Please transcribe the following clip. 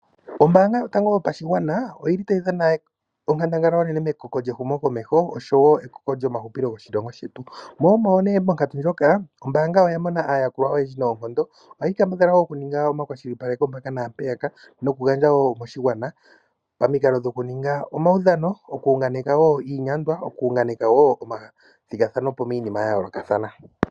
Ombaanga yotango yopashigwana oyili tayi dhana onkandangala onene mekoko lyehumo komeho oshowo ekoko lyomahupilo lyoshilongo shetu, mo omo nee monkatu ndjoka ombaanga oya mona aayakulwa oyendji noonkondo. Ohayi kambadhala nee okuninga omakwashilipaleko mpaka naampeyaka noku gandja wo koshigwana pamikalo dhokuninga omaudhano, oku unganeka wo iinyandwa, oku unganeka wo omathigathanopo miinima ya yoolokathana.